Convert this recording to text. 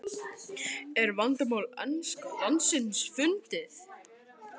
Er vandamál enska landsliðsins fundið?